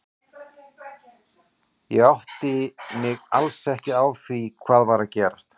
Ég áttaði mig alls ekki á því hvað var að gerast.